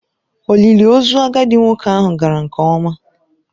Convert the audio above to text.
Olili ozu agadi nwoke ahụ gara nke ọma.